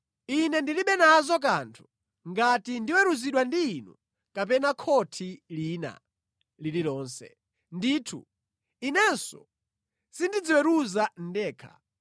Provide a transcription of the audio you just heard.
Ine ndilibe nazo kanthu ngati ndiweruzidwa ndi inu kapena khothi lina lililonse. Ndithu, inenso sindidziweruza ndekha.